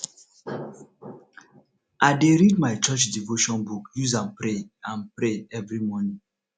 i dey read my church devotion book use am pray am pray every morning